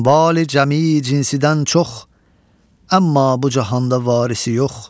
Əmvali cəmi cinsidən çox, əmma bu cahanda varisi yox.